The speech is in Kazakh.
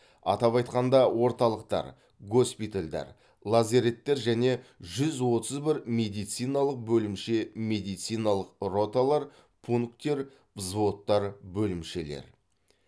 атап айтқанда орталықтар госпитальдар лазареттер және жүз отыз бір медициналық бөлімше медициналық роталар пункттер взводтар бөлімшелер